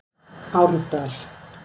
Árdal